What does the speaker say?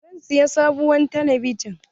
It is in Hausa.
Zan siya sabuwar talabijin.